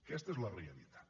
aquesta és la realitat